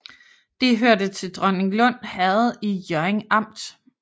Det hørte til Dronninglund Herred i Hjørring Amt